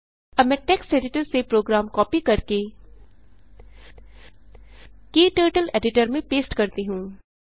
अब मैं text editor से प्रोग्राम कॉपी करके क्टर्टल एडिटर में पेस्ट करती हूँ